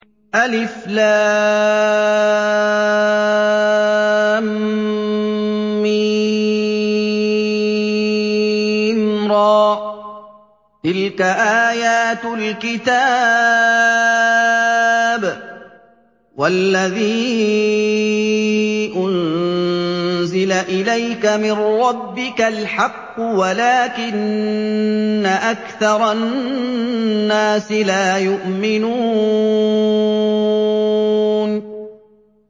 المر ۚ تِلْكَ آيَاتُ الْكِتَابِ ۗ وَالَّذِي أُنزِلَ إِلَيْكَ مِن رَّبِّكَ الْحَقُّ وَلَٰكِنَّ أَكْثَرَ النَّاسِ لَا يُؤْمِنُونَ